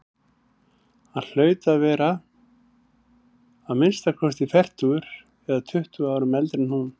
Hann hlaut að vera að minnsta kosti fertugur eða tuttugu árum eldri en hún.